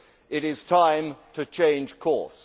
It is time to change course.